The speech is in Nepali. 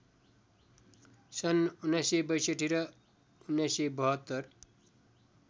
सन् १९६२ र १९७२